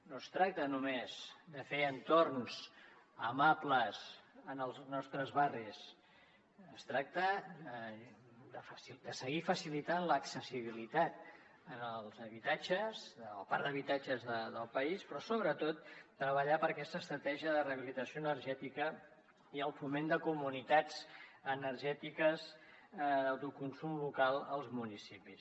no es tracta només de fer entorns amables en els nostres barris es tracta de seguir facilitant l’accessibilitat al parc d’habitatges del país però sobretot de treballar per aquesta estratègia de rehabilitació energètica i el foment de comunitats energètiques d’autoconsum local als municipis